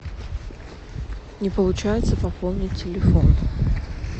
не получается пополнить телефон